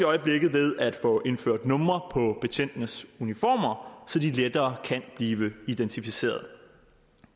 øjeblikket ved at få indført numre på betjentenes uniformer så de lettere kan blive identificeret